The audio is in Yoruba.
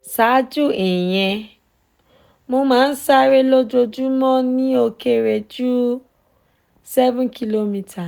saaju iyen mo ma n sare lojoojumọ ni o kere ju seven kilometre